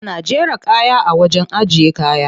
Ana jera kaya a wajen ajiye kaya.